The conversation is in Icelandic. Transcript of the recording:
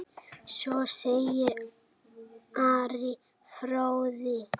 Svo segir Ari fróði.